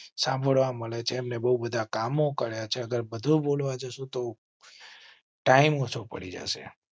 સાંભળવા મળે છે. બહુ બધા કામ કરેં છે અગર બધું બોલવા જાસુ તો ટાઇમ્સ ઓચ્છુપડી જૈસ એ